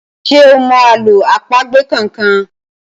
ṣe o mọ àlọ́ àpagbè kán kán?